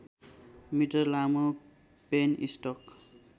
metre लामो penstock